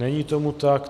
Není tomu tak.